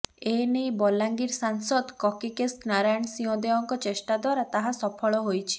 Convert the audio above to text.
ଏନେଇ ବଲାଙ୍ଗୀର ସାଂସଦ କକିକେଶ ନାରାୟଣ ସିଂହଦେଓଙ୍କ ଚେଷ୍ଟା ଦ୍ୱାରା ତାହା ସଫଳ ହୋଇଛି